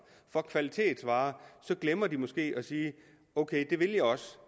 for kvalitetsvarer så glemmer de måske at sige ok det vil jeg også